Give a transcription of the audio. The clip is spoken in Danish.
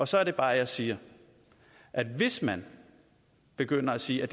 så er det bare jeg siger at hvis man begynder at sige at